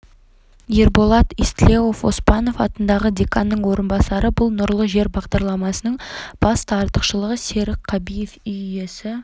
ерболат истлеуов оспанов атындағы деканның орынбасары бұл нұрлы жер бағдарламасының басты артықшылығы серік қабиев үй иесі